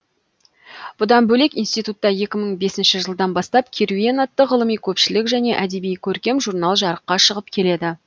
бұдан бөлек институтта екі мың бесінші жылдан бастап керуен атты ғылыми көпшілік және әдеби көркем журнал жарыққа шығып келеді